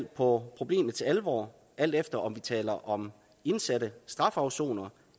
på problemets alvor alt efter om vi taler om indsatte strafafsonere